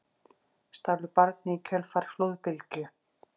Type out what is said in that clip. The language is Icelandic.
Stálu barni í kjölfar flóðbylgju